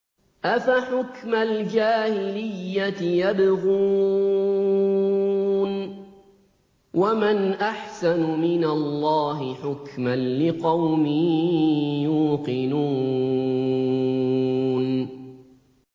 أَفَحُكْمَ الْجَاهِلِيَّةِ يَبْغُونَ ۚ وَمَنْ أَحْسَنُ مِنَ اللَّهِ حُكْمًا لِّقَوْمٍ يُوقِنُونَ